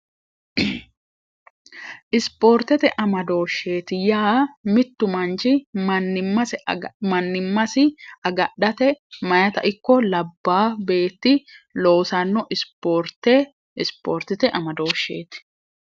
isipoortete amadooshsheeti yaa mittu manci msimannimmasi agadhate mayita ikko labbaa beetti loosanno isoorte ispoortete amadooshsheeti